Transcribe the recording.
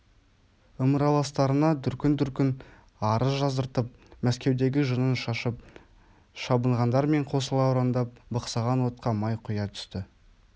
ымыраластарына дүркін-дүркін арыз жаздыртып мәскеудегі жынын шашып шабынғандармен қосыла ұрандап бықсыған отқа май құя түсті